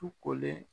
Tu kolen